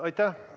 Aitäh!